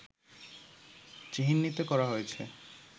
চিহ্নিত করা হয়েছে